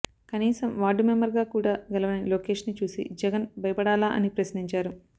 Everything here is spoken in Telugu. కనీసం వార్డు మెంబర్ గా కూడా గెలవని లోకేష్ ని చూసి జగన్ భయపడాలా అని ప్రశ్నించారు